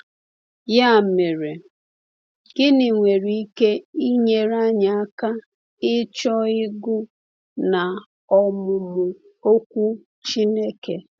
Ya mere, gịnị nwere ike inyere anyị aka ịchọ ịgụ na ọmụmụ Okwu Chineke?